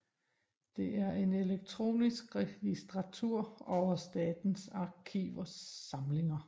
Det er en elektronisk registratur over Statens Arkivers samlinger